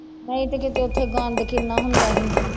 ਨਹੀਂ ਤੇ ਕਿਤੇ ਉੱਥੇ ਗੰਦ ਕਿੰਨਾ ਹੁੰਦਾ ਸੀ।